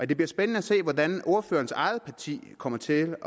det bliver spændende at se hvordan ordførerens eget parti kommer til